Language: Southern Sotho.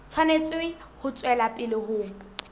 tshwanetse ho tswela pele ho